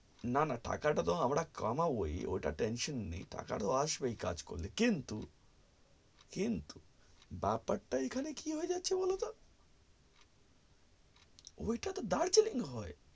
না না টাকা টা তো আমরা কামবোই ওটা tension নেই টাকা তো আসবেই কাজ করলে কিন্তু কিন্তু ব্যাপার টা এখানে কি হয়ে যাচ্ছে বলতো ঐটা তো দার্জিলিং হয়